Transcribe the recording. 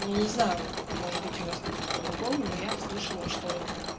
я не знаю может быть у вас как-то по-другому но я слышала что